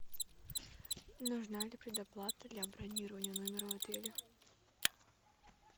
нужна ли предоплата для бронирования номера в отеле